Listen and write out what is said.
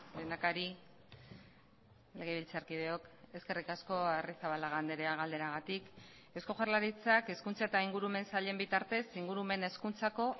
lehendakari legebiltzarkideok eskerrik asko arrizabalaga andrea galderagatik eusko jaurlaritzak hezkuntza eta ingurumen sailen bitartez ingurumen hezkuntzako